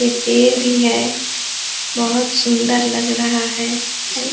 एक पेड़ भी है बहुत सुन्दर लग रहा है। सही --